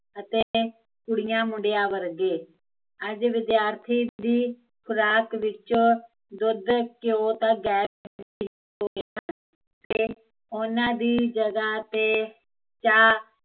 ਅਤੇ ਕੁੜੀਆ ਮੁੰਡਿਆ ਵਰਗੇ ਅੱਜ ਵਿਦਿਆਰਥੀ ਦੀ ਖੁਰਾਕ ਵਿੱਚੋਂ ਦੁੱਧ, ਘਿਓ ਤਾਂ ਗਾਯਬ ਹੀਂ ਉਹਨਾਂ ਦੀ ਜਗਾ ਤੇ ਚਾਹ